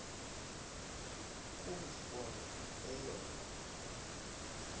ku ndibona eyona